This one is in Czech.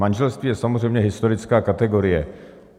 Manželství je samozřejmě historická kategorie.